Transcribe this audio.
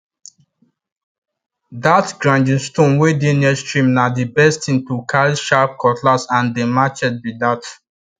that grinding stone wey dey near stream na the best thing to carry sharp cutlass and dem machets be that